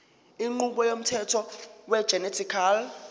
inqubo yomthetho wegenetically